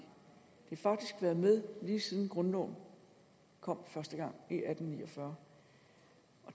har faktisk været med lige siden grundloven kom første gang i atten ni og fyrre